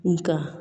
Nga